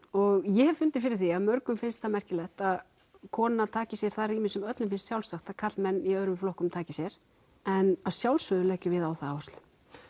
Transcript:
og ég hef fundið fyrir því að mörgum finnst það merkilegt að kona taki sér það rými sem öllum finnst sjálfsagt að karlmenn í öðrum flokkum taki sér en að sjálfsögðu leggjum við á það áherslu